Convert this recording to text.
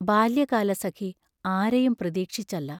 ബാല്യകാലസഖി ആരെയും പ്രതീക്ഷിച്ചല്ല.